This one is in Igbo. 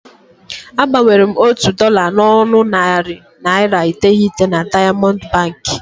A gbanwere m otu dọla n'ọnụ narị naịra iteghete na Daịamọndụ Bankị.